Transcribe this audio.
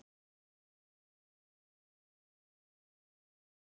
Lóa: Dróstu þau í burtu?